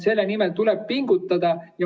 Selle nimel tuleb pingutada.